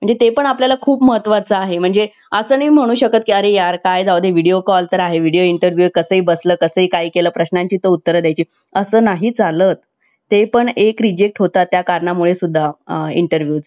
Chat GPT ची क्षमता वाढवण्यासाठी या प्रणालीला प्रशिक्षण देणारा परम संगणक open AI आणि मायक्रोसॉफ्ट यांनी विकसित केला आहे.